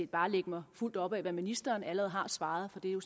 bare lægge mig fuldt op ad hvad ministeren allerede har svaret for det er jo